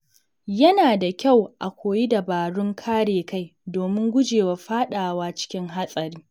Yana da kyau a koyi dabarun kare kai domin guje wa fadawa cikin hatsari.